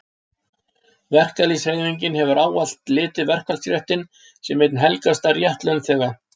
Verkalýðshreyfingin hefur ávallt litið verkfallsréttinn sem einn helgasta rétt launþega.